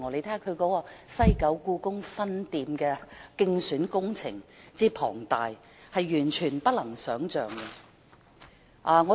她的"西九故宮分店"競選工程之浩大，是完全無法想象的。